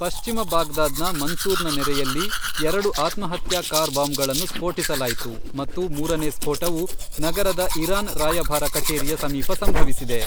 ಪಶ್ಚಿಮ ಬಾಗ್ದಾದ್ನ ಮನ್ಸೂರ್ನ ನೆರೆಯಲ್ಲಿ ಎರಡು ಆತ್ಮಹತ್ಯಾ ಕಾರ್ ಬಾಂಬ್ಗಳನ್ನು ಸ್ಫೋಟಿಸಲಾಯಿತು ಮತ್ತು ಮೂರನೇ ಸ್ಫೋಟವು ನಗರದ ಇರಾನ್ ರಾಯಭಾರ ಕಚೇರಿಯ ಸಮೀಪ ಸಂಭವಿಸಿದೆ.